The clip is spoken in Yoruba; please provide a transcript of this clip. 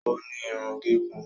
O ní Irun gígùn